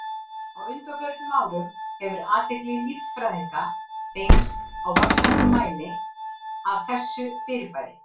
Á undanförnum árum hefur athygli líffræðinga beinst í vaxandi mæli að þessu fyrirbæri.